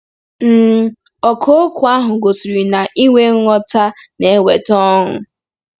um Ọkà okwu ahụ gosiri na inwe nghọta na-eweta ọṅụ.